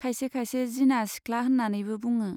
खायसे खायसे 'जिना सिख्ला' होन्नानैबो बुङो।